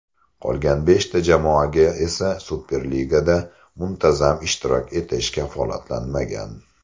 Qolgan beshta jamoaga esa Superligada muntazam ishtirok etish kafolatlanmagan.